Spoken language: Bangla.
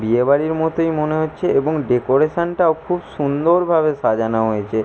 বিয়ে বাড়ির মতোই মনে হচ্ছে এবং ডেকোরেশনটাও খুব সুন্দর ভাবে সাজানো হয়েছে।